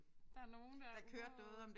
Der nogen der ude at